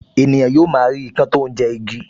Ènìyàn yóò máa rí ikán tó ń jẹ igi